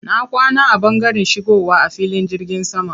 Na kwana a ɓangaren shigowa a cikin filin jirgin sama.